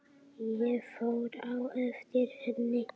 Ég fór á eftir henni.